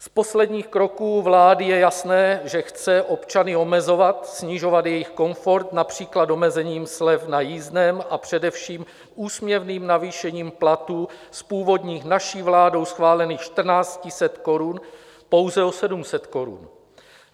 Z posledních kroků vlády je jasné, že chce občany omezovat, snižovat jejich komfort, například omezením slev na jízdném, a především úsměvným navýšením platů z původních, naší vládou schválených 1 400 korun pouze o 700 korun.